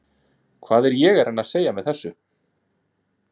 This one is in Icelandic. Hvað er ég að reyna að segja með þessu?